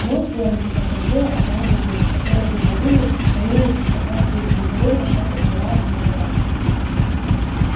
ну и слоники подтвердила одна из бабулек которые в изобилии роились по квартире непрерывно что-то убирая и натирая